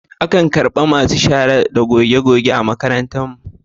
Akan karɓi masu shara da gogegoge a makarantu.